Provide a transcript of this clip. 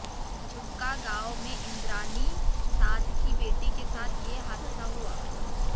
झुमका गांव में इंद्राणी साध की बेटी के साथ ये हादसा हुआ